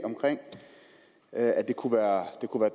at det kunne være